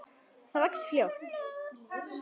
Það vex fljótt.